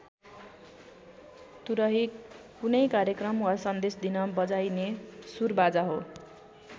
तुरही कुनै कार्यक्रम वा सन्देश दिन बजाइने सुरबाजा हो।